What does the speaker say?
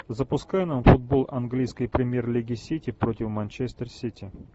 запускай нам футбол английской премьер лиги сити против манчестер сити